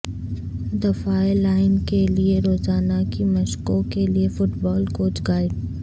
دفاعیی line کے لئے روزانہ کی مشقوں کے لئے فٹ بال کوچ گائیڈ